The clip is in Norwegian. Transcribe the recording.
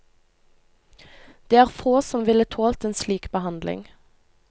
Det er få som ville tålt en slik behandling.